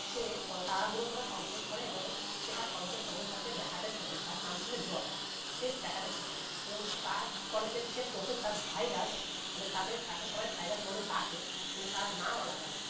সে ক তাড়াহুড়ো করে complete করে সে তার college এ professor কে দেখাতে ছোটে যার নাম ছিলো জয় সে দেখাতে ছোটে এবং তার college এর যে professor virus মানে তাদের তাকে সবাই virus বলে ডাকে কিন্তু তার নাম আলাদা